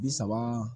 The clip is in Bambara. Bi saba